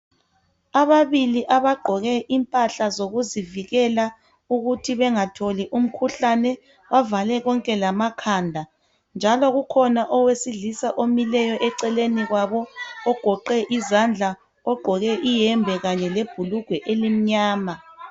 ababili abagqoke impahla zokuzivikela ukuthi bengatholi umkhuhlane bavale bonke lamakhanda njalo kukhona lowesilisa omileyo eceleni kwabo ogoqe izandla ogqoke iyembe kanye lebhulugwe elimnyama